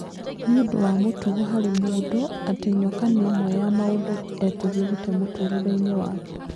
Nĩũndũ wa mũtugo harĩ mũndũ atĩ nyoka nĩ ĩmwe ya maũndũ etigĩrĩte mũtũrĩreinĩ wake.